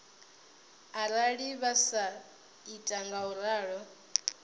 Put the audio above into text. arali vha sa ita ngauralo